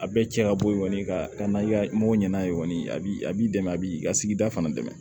A bɛɛ cɛ ka bɔ yen kɔni ka n'a mɔgɔw ɲɛna kɔni a b'i a b'i dɛmɛ a b'i ka sigida fana dɛmɛ